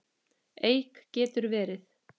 Eik getur verið